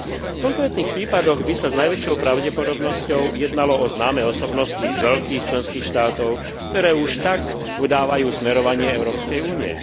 V konkrétnych prípadoch by sa s najväčšou pravdepodobnosťou jednalo o známe osobnosti z veľkých členských štátov, ktoré už tak udávajú smerovanie Európskej únie.